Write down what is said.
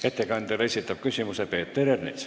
Ettekandjale esitab küsimuse Peeter Ernits.